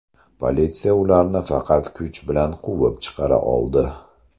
Politsiya ularni faqat kuch bilan quvib chiqara oldi.